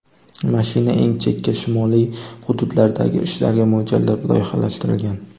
Mashina eng chekka shimoliy hududlardagi ishlarga mo‘ljallab loyihalashtirilgan.